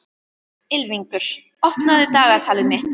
Ylfingur, opnaðu dagatalið mitt.